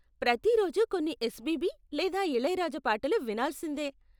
ప్రతి రోజు కొన్ని ఎస్పీబీ లేదా ఇళయరాజా పాటలు వినాల్సిందే.